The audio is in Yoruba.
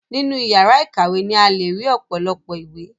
Nínú ìyàrá ìkàwé ni a le ri ọ̀pọ̀lọpọ̀ ìwé.